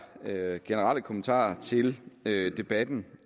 generelle kommentarer til debatten